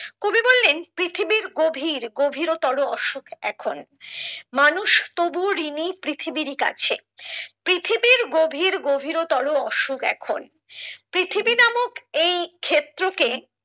কবি বললেন পৃথিবীর গভীর গভীরতর অসুখ এখন মানুষ তবুও ঋনী পৃথিবীর কাছে পৃথিবীর গভীর গভীরতর অসুখ এখন পৃথিবী নামক এই ক্ষেত্র কে